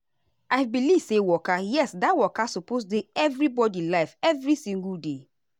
i believe say waka yes that waka suppose dey everybody life every single day.